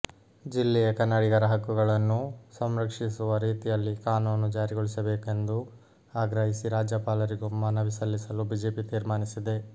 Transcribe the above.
ಜಿಲ್ಲೆಯ ಕನ್ನಡಿಗರ ಹಕ್ಕುಗಳನ್ನು ಸಂರಕ್ಷಿಸುವ ರೀತಿಯಲ್ಲಿ ಕಾನೂನು ಜ್ಯಾರಿಗೊಳಿಸಬೇಕೆಂದು ಆಗ್ರಹಿಸಿ ರಾಜ್ಯಪಾಲರಿಗೂ ಮನವಿ ಸಲ್ಲಿಸಲು ಬಿಜೆಪಿ ತೀರ್ಮಾನಿಸಿದೆ